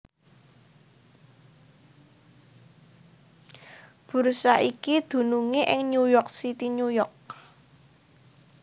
Bursa iki dunungé ing New York City New York